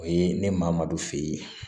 O ye ni maa ma don f'e ye